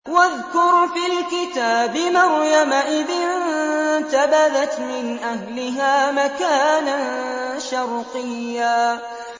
وَاذْكُرْ فِي الْكِتَابِ مَرْيَمَ إِذِ انتَبَذَتْ مِنْ أَهْلِهَا مَكَانًا شَرْقِيًّا